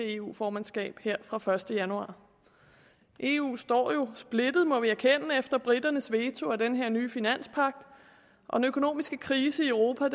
eu formandskab her fra den første januar eu står jo splittet må vi erkende efter briternes veto af den her nye finanspagt og den økonomiske krise i europa